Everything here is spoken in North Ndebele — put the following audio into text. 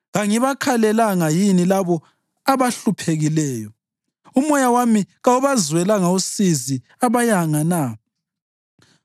Kangibakhalelanga yini labo abahluphekileyo? Umoya wami kawubazwelanga usizi abayanga na?